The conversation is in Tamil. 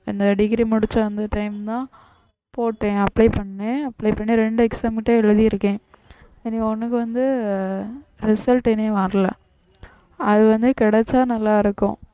இந்த degree முடிச்சு அந்த time தான் போட்டேன் apply பண்ணேன் ரெண்டு exam மட்டும் எழுதி இருக்கேன் இனி ஒண்ணுக்கு வந்து result இனி வரல அது வந்து கிடைச்சா நல்லா இருக்கும்